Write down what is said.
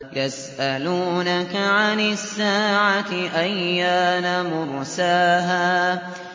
يَسْأَلُونَكَ عَنِ السَّاعَةِ أَيَّانَ مُرْسَاهَا